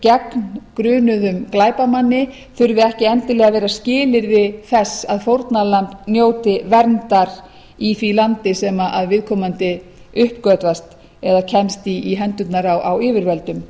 gegn grunuðum glæpamanni þurfi ekki endilega að vera skilyrði þess að fórnarlamb njóti verndar í því landi sem viðkomandi uppgötvast eða kemst í hendurnar á yfirvöldum